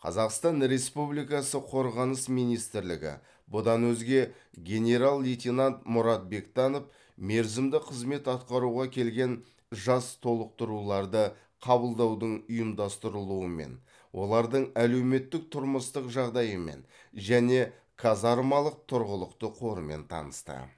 қазақстан республикасы қорғаныс министрлігі бұдан өзге генерал лейтенант мұрат бектанов мерзімді қызмет атқаруға келген жас толықтыруларды қабылдаудың ұйымдастырылуымен олардың әлеуметтік тұрмыстық жағдайымен және казармалық тұрғылықты қорымен танысты